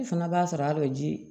I fanga b'a sɔrɔ a dɔw ji